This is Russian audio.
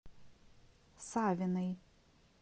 савиной